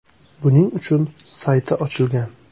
Buning uchun sayti ochilgan.